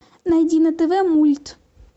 найди на тв мульт